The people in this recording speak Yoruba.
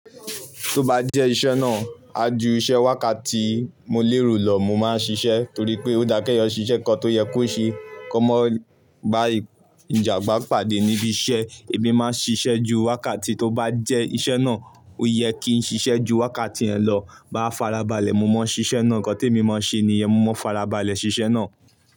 Tó bá jẹ́ iṣẹ́ náà, a ju iṣẹ́ wákàtí mo léro lọ mo máa ṣiṣẹ́ torí pé ó dá kẹ́yọ ṣiṣẹ́ kankan tó yẹ kó ṣe. Ko mó ba ìjàǹgbá pàdé níbi iṣẹ́, èmi máa ń ṣiṣẹ́ ju wákàtí tó bá jẹ́ iṣẹ́ náà ó yẹ kí n ṣiṣẹ́ ju wákàtí ẹ lọ bá farabalẹ̀ mo máa ṣiṣẹ́ náà. Ǹkan tí èmi máa ń ṣe ni ẹ́, mo máa ń farabalẹ̀ ṣiṣẹ́ náà.